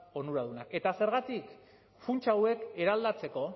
onuradunak eta zergatik funts hauek eraldatzeko